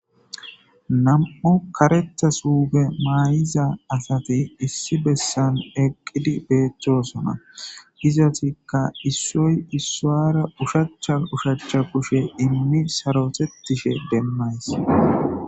Nam''u kareththa suffe mayidda asati deletes ,izettikka issoy issuwara ushshacha kushen sarottishe deletes.